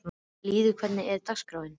Lýður, hvernig er dagskráin?